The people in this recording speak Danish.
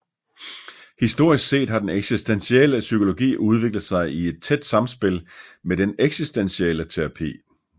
Historisk set har den eksistentielle psykologi udviklet sig i et tæt samspil med den eksistentielle terapi